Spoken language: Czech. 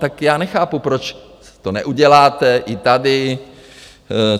Tak já nechápu, proč to neuděláte i tady.